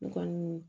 N kɔnni